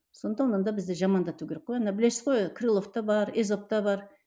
сондықтан онда бізді жамандату керек қой онда білесіз крыловта бар езовта бар